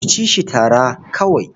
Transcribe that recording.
Ku ci shi tara kawai.